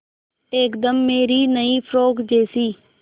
एकदम मेरी नई फ़्रोक जैसी